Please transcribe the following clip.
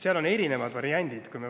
Seal on erinevaid variante.